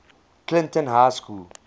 clinton high school